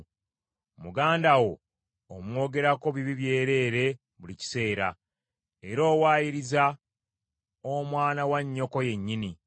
Muganda wo omwogerako bibi byereere buli kiseera, era owayiriza omwana wa nnyoko yennyini.